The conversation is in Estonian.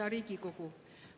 Hea Riigikogu!